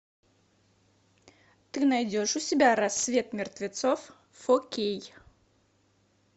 ты найдешь у себя рассвет мертвецов фо кей